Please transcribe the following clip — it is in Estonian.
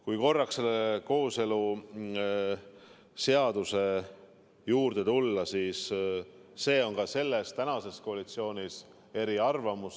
Kui korraks selle kooseluseaduse juurde tulla, siis selles osas ollakse ka tänases koalitsioonis eriarvamustel.